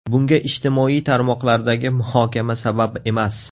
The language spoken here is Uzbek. Bunga ijtimoiy tarmoqlardagi muhokama sabab emas.